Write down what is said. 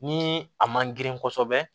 Ni a man grin kosɛbɛ